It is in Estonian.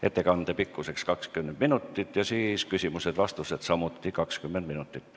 Ettekande pikkus on 20 minutit ning küsimused ja vastused kestavad samuti 20 minutit.